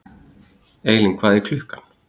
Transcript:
Eylín, hvað er klukkan?